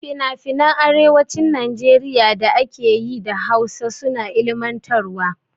Finafinan arewacin Najeriya da ake yi da Hausa suna ilmantarwa.